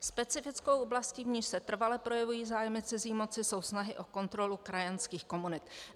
Specifickou oblastí, v níž se trvale projevují zájmy cizí moci, jsou snahy o kontrolu krajanských komunit."